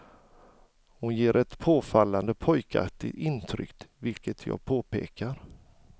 Hon ger ett påfallande pojkaktigt intryck vilket jag påpekar.